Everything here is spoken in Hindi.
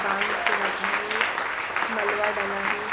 बांध के रखा है मलवा डला हैं।